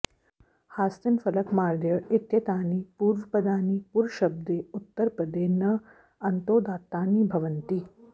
हास्तिन फलक मार्देय इत्येतानि पूर्वपदानि पुरशब्दे उत्तरपदे न अन्तोदात्तानि भवन्ति